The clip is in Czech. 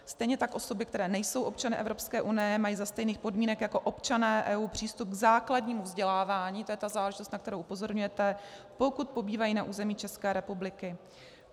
Stejně tak osoby, které nejsou osoby Evropské unie, mají za stejných podmínek jako občané EU přístup k základnímu vzdělávání - to je ta záležitost, na kterou upozorňujete - pokud pobývají na území České republiky.